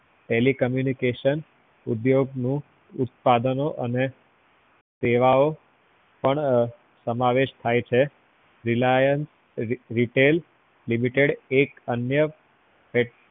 telecommunication ઉદ્યોગ નું ઉત્પાદન અને સેવાઓ પણ સમાવેશ થાય છે reliance retail limited એક અન્ય petro